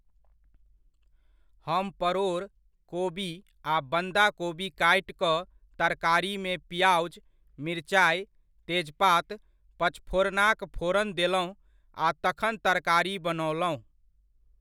हम परोर, कोबी आ बन्धा कोबी काटि कऽ तरकारीमे पिआजु, मिरचाइ, तेजपात, पचफोरनाक फोरन देलहुॅं आ तखन तरकारी बनओलहुँ।